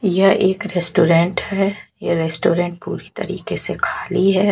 यह एक रेस्टोरेंट है ये रेस्टोरेंट पूरी तरीके से खाली है।